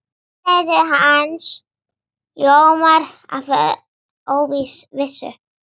Andlit hans ljómar af óvissu.